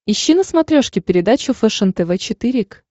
ищи на смотрешке передачу фэшен тв четыре к